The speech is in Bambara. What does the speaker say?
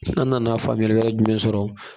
An nana faamuyali wɛrɛ jumɛn sɔrɔ